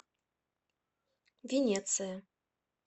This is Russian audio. венеция